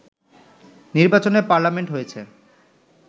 নির্বাচনে পার্লামেন্ট হয়েছে